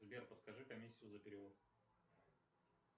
сбер подскажи комиссию за перевод